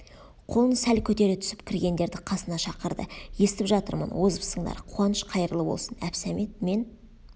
қолын сәл көтере түсіп кіргендерді қасына шақырды естіп жатырмын озыпсыңдар қуаныш қайырлы бол сын әбсәмет мен